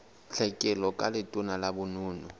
tlhekelo ka letona la bonono